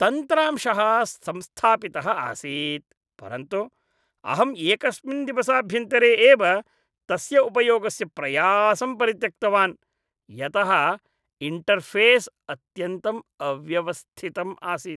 तन्त्रांशः संस्थापितः आसीत् परन्तु अहम् एकस्मिन् दिवसाभ्यन्तरे एव तस्य उपयोगस्य प्रयासं परित्यक्तवान् यतः इण्टर्फ़ेस् अत्यन्तम् अव्यवस्थितम् आसीत्।